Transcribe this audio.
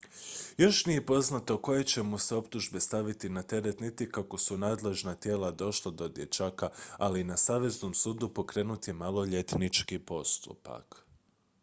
još nije poznato koje će mu se optužbe staviti na teret niti kako su nadležna tijela došla do dječaka ali na saveznom sudu pokrenut je maloljetnički postupak